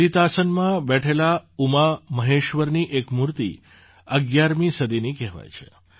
લલિતાસનમાં બેઠેલા ઉમામહેશ્વરની એક મૂર્તિ ૧૧મી સદીની કહેવાય છે